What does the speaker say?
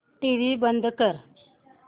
TV बंद कर